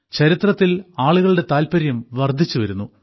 ചരിത്രത്തിൽ ആളുകളുടെ താല്പര്യം വർദ്ധിച്ചുവരുന്നു